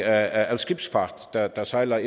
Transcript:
af skibsfart der der sejler